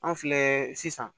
An filɛ sisan